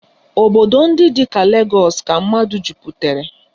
Obodo ndị dị ka Legọs ka mmadụ jupụtara